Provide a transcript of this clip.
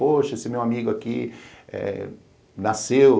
Poxa, esse meu amigo aqui eh nasceu...